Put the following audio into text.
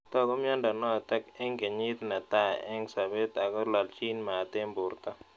Tag'u miando notok eng' kenyit ne tai eng' sobet ako lalchin mat eng' porto